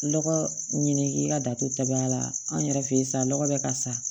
Lɔgɔ ɲini ka datubaya la an yɛrɛ fɛ sa lɔgɔ bɛ ka sa